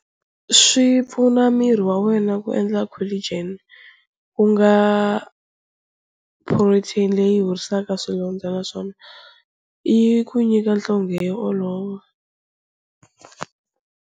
Swi pfuna miri wa wena ku endla collagen, ku nga protein leyi horisaka swilondza naswona yi ku nyika nhlonge yo olova.